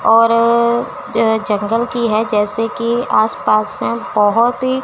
और जो जंगल की है जैसे कि आस पास में बहुत ही--